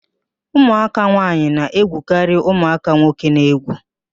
Ụmụaka nwaanyị na-egwukarị ụmụaka nwoke n'egwu